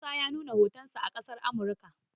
musa ya nuna hotonsa a ƙasar Amurka